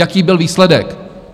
Jaký byl výsledek?